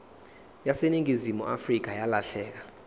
yaseningizimu afrika yalahleka